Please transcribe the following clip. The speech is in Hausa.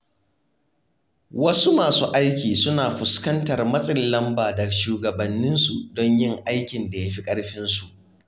Wasu masu aiki suna fuskantar matsin lamba daga shugabanninsu don yin aikin da yafi ƙarfinsu.